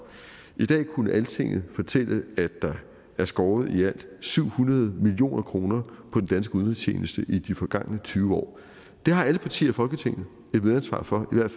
i dag kunne altinget fortælle at der er skåret i alt syv hundrede million kroner på den danske udenrigstjeneste i de forgangne tyve år det har alle partier i folketinget et medansvar for